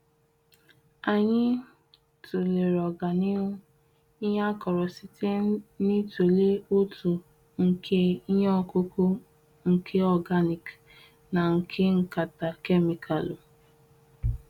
Anyị tụlere oga na ihu, ihe akoro site n'ịtụle ọtu nke ihe ọkụkụ nke organic na nke nkata kemịkalụ.